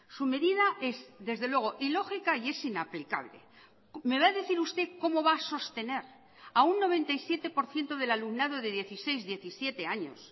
su medida es desde luego ilógica y es inaplicable me va a decir usted cómo va a sostener a un noventa y siete por ciento del alumnado de dieciséis diecisiete años